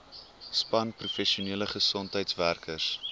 span professionele gesondheidswerkers